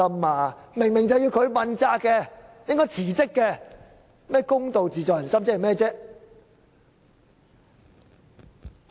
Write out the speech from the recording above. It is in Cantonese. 他分明要問責和辭職，卻說"公道自在人心"，這是甚麼意思？